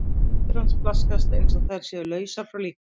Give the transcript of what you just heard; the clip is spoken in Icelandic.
Hendur hans flaksast einsog þær séu lausar frá líkamanum.